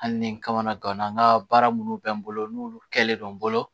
Hali ni n kamana gana n ka baara minnu bɛ n bolo n'olu kɛlen don n bolo